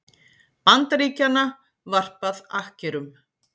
Bandaríkjanna varpað akkerum.